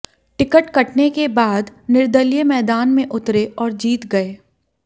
ticket कटने के बाद निर्दलीय मैदान में उतरे और जीत गए